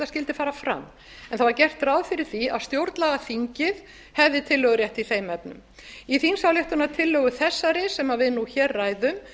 skyldi fara fram en það var gert ráð fyrir því að stjórnlagaþingið hefði tillögurétt í þeim efnum í þingsályktunartillögu þessari sem við nú hér ræðum